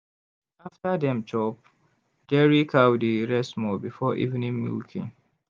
after dem chop dairy cow dey rest small before evening milking.